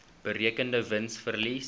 berekende wins verlies